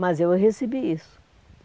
Mas eu recebi isso.